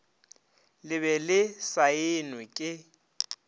le be le saenwe ke